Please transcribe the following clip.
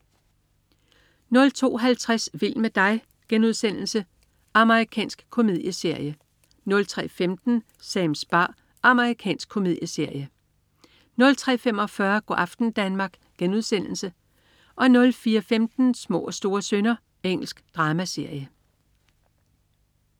02.50 Vild med dig.* Amerikansk komedieserie 03.15 Sams bar. Amerikansk komedieserie 03.45 Go' aften Danmark* 04.15 Små og store synder. Engelsk dramaserie